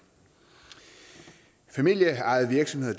familieejede virksomheder